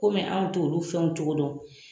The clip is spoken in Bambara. Komi anw t'olu fɛnw cogo dɔn